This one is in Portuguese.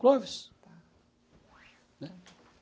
Clóvis. Ah tá. né!